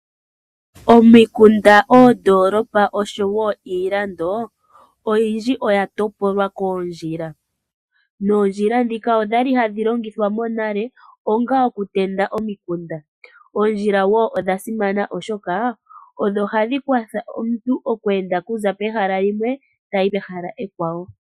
Omikunda, oondoolopa noshowo iilando oyindji oya topolwa koondjila. Noondjila ndhika odha li hadhi longithwa monale, onga okutenda omikunda. Oondjila odha simana wo, oshoka odho hadhi kwatha omuntu oku enda okuza pehala limwe tayi pehala ekwawo.